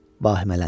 Bahimələndik.